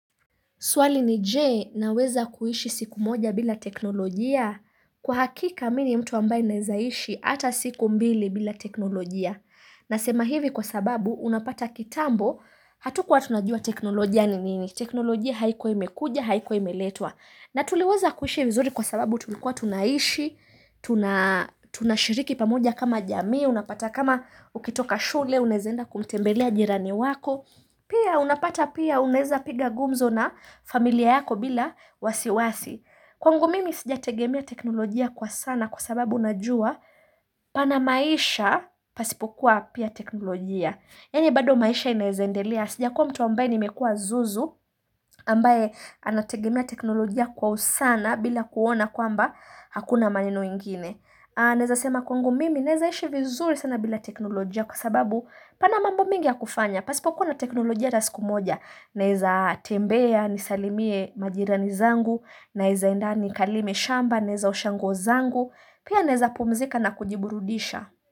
Swali ni je, naweza kuishi siku moja bila teknolojia? Kwa hakika mimi ni mtu ambaye naweza ishi hata siku mbili bila teknolojia. Na sema hivi kwa sababu unapata kitambo hatukuwa tunajua teknolojia ni nini. Teknolojia haikuwa imekuja, haikuwa imeletwa. Na tuliweza kuishi vizuri kwa sababu tulikuwa tunaishi, tunashiriki pamoja kama jamii, unapata kama ukitoka shule, unaweza enda kumtembelea jirani wako. Pia unapata pia unaweza piga gumzo na familia yako bila wasiwasi. Kwangu mimi sijategemea teknolojia kwa sana kwa sababu najua pana maisha pasipokuwa pia teknolojia. Yani bado maisha inaweza endelea. Sijakua mtu ambaye nimekuwa zuzu ambaye anategemia teknolojia kwa usana bila kuona kwamba hakuna maneno ingine. Naweza sema kwangu mimi naweza ishi vizuri sana bila teknolojia kwa sababu pana mambo mengi ya kufanya. Pasipokuwa na teknolojia hata siku moja, naweza tembea, nisalimie majirani zangu, naweza enda nikalime shamba, naweza osha nguo zangu, pia naweza pumzika na kujiburudisha.